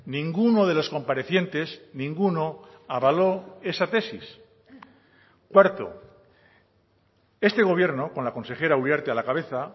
ninguno de los comparecientes ninguno avaló esa tesis cuarto este gobierno con la consejera uriarte a la cabeza